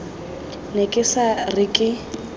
ne ke sa re ke